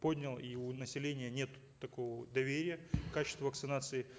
поднял и у населения нет такого доверия к качеству вакцинации